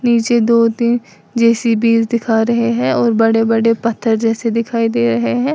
नीचे दो तीन जे_सी_बी दिखा रहे हैं और बड़े बड़े पत्थर जैसे दिखाई दे रहे हैं।